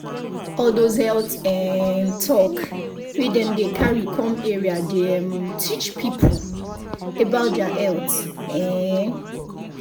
all those health um talk wey dem dey carry come area dey um teach people about their health. um